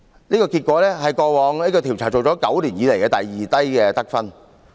這個結果是過往9年調查以來第二低的得分。